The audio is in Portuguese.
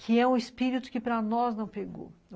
Que é um espírito que para nós não pegou.